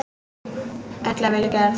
Öll af vilja gerð.